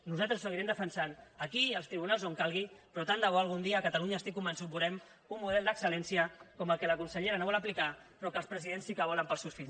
nosaltres ho seguirem defensant aquí i als tribunals on calgui però tant de bo algun dia a catalunya n’estic convençut veurem un model d’excel·lència com el que la consellera no vol aplicar però que els presidents sí que volen per als seus fills